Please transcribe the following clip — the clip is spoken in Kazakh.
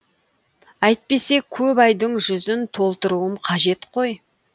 әйтпесе көп айдың жүзін толтыруым қажет қой